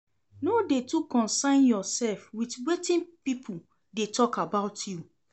No dey too consyn yourself with wetin people dey talk about you